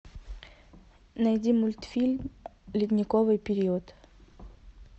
найди мультфильм ледниковый период